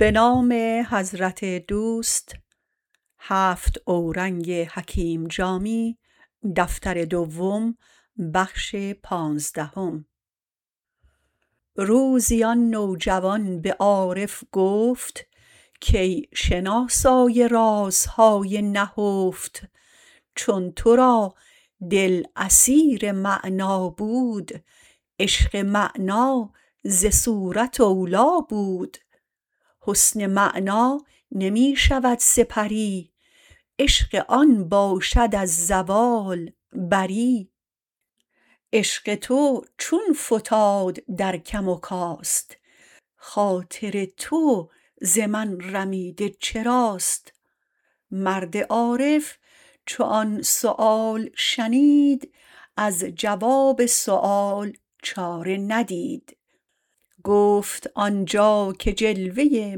روزی آن نوجوان به عارف گفت کای شناسای رازهای نهفت چون تو را دل اسیر معنی بود عشق معنی ز صورت اولی بود حسن معنی نمی شود سپری عشق آن باشد از زوال بری عشق تو چون فتاد در کم و کاست خاطر تو ز من رمیده چراست مرد عارف چو آن سؤال شنید از جواب سؤال چاره ندید گفت آنجا که جلوه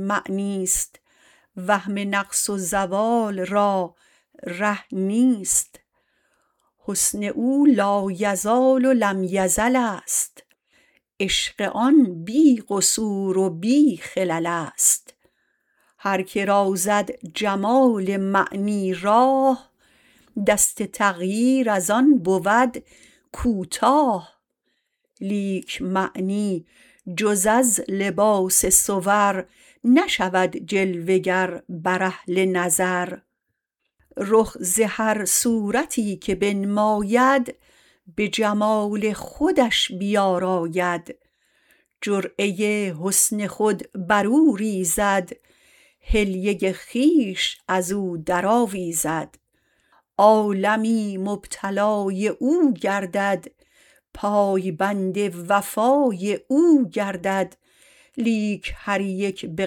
معنیست وهم نقص و زوال را ره نیست حسن او لایزال و لم یزل است عشق آن بی قصور و بی خلل است هر که را زد جمال معنی راه دست تغییر ازان بود کوتاه لیک معنی جز از لباس صور نشود جلوه گر بر اهل نظر رخ ز هر صورتی که بنماید به جمال خودش بیاراید جرعه حسن خود بر او ریزد حلیه خویش ازو درآویزد عالمی مبتلای او گردد پایبند وفای او گردد لیک هر یک به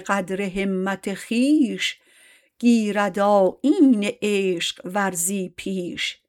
قدر همت خویش گیرد آیین عشق ورزی پیش